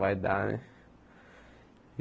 Vai dar, né?